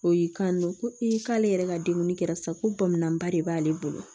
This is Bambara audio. O y'i kanto ko i k'ale yɛrɛ ka denguni kɛra sa ko bɔnbɔn ba de b'ale bolo